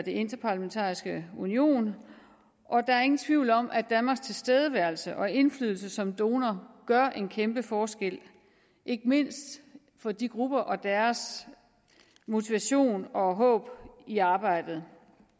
interparlamentariske union og der er ingen tvivl om at danmarks tilstedeværelse og indflydelse som donor gør en kæmpe forskel ikke mindst for de grupper og deres motivation og håb i arbejdet